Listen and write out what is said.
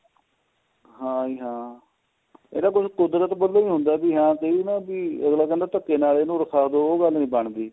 ਹਾਂ ਜੀ ਹਾਂ ਇਹ ਤਾਂ ਕੁਦਰਤ ਵਲੋ ਵੀ ਹੁੰਦਾ ਵੀ ਹਾਂ ਨਾ ਵੀ ਅਗਲਾ ਕਹਿੰਦਾ ਵੀ ਧਕੇ ਨਾਲ ਇੰਨੁ ਉੱਠਾ ਦੋ ਉਹ ਗੱਲ ਨੀਂ ਬਣਦੀ